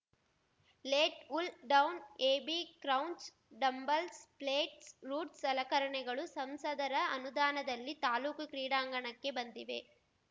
lat pulldown AB crunch dumbbells plates rods ಸಲಕರಣೆಗಳು ಸಂಸದರ ಅನುದಾನದಲ್ಲಿ ತಾಲ್ಲೂಕು ಕ್ರೀಡಾಂಗಣಕ್ಕೆ ಬಂದಿವೆ